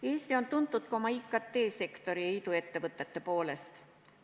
Eesti on tuntud ka oma IKT-sektori ja iduettevõtete poolest.